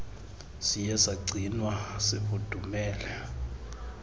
siye sagcinwa sifudumele